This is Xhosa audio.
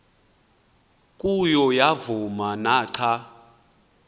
kuyo yavuma naxa